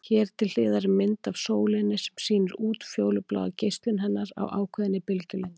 Hér til hliðar er mynd af sólinni sem sýnir útfjólubláa geislun hennar á ákveðinni bylgjulengd.